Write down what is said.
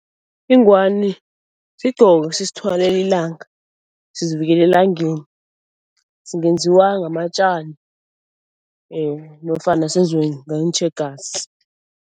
Ingwani sigqoko sisithwalela ilanga, sizivikela elangeni. Singenziwa ngamatjani nofana senziwe ngeentjhegasi.